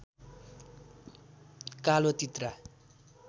कालो तित्रा